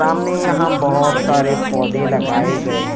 सामने यहां बहुत सारे पौधे लगाए गए हैं।